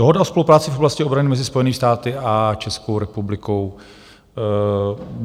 Dohoda o spolupráci v oblasti obrany mezi Spojenými státy a Českou republikou.